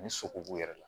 Ni sogo b'u yɛrɛ la